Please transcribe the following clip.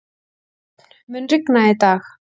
Sjöfn, mun rigna í dag?